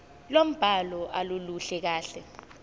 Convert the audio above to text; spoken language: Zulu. lombhalo aluluhle kahle